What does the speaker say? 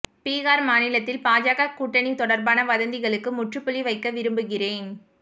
பீகார் மாநிலத்தில் பாஜக கூட்டணி தொடர்பான வதந்திகளுக்கு முற்றுப்புள்ளி வைக்க விரும்புகிறேன்